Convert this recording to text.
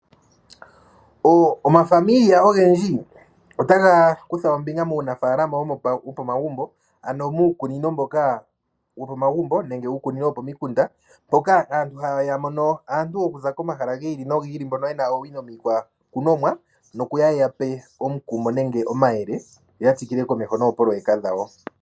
Omazimo ogendji ota ga kutha ombinga muunafalama wo pa magumbo, ano muukunino mboka wu li omagumbo nenge uukunino wo pomikunda mpoka aantu haya mono aantu okuza komahala gi ili nogi ili. Mbono yena oowino miikwakunomwa noku ya ye ya pe omukumo nenge omayele, yo ya tsikile komeho noopololeka dhawo.